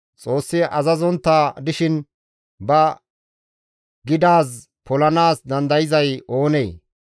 Xoossi azazontta dishin ba gidaaz polanaas dandayzay oonee?